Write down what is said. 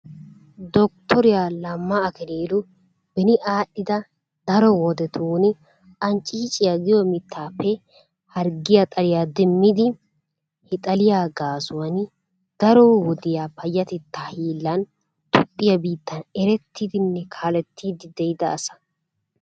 Dokiteriya Lamma Akililu beni aadhdhida daro wodetun hancciiciya giyo mittaappe harggiya xaliya demmidi he xaliya gaasuwan daro wodiya payyatettaa hiillan diya biittan erettidinne kaalettiiddi de'ida asa.